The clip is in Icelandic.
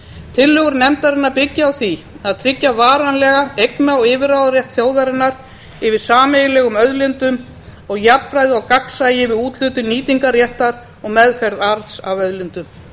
tillögur nefndarinnar byggja á því að tryggja varanlegan eigna og yfirráðarétt þjóðarinnar yfir sameiginlegum auðlindum og jafnræði og gagnsæi við úthlutun nýtingarréttar og meðferð arðs af auðlindum